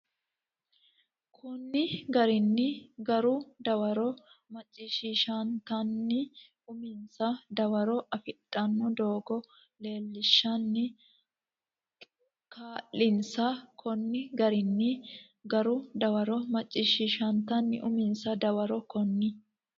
Konni garinni garu dawaro macciishiishshantenni uminsa dawaro afidhanno doogo leellishshanni kaa linsa Konni garinni garu dawaro macciishiishshantenni uminsa dawaro Konni.